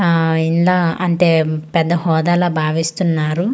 ఆ ఇలా అంటే పెద్ద హోదాల బావిస్తూ ఉన్నారు.